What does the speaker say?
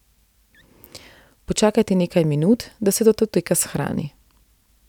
Počakajte nekaj minut, da se datoteka shrani.